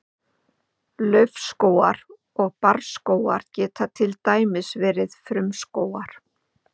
Laufskógar og barrskógar geta til dæmis verið frumskógar.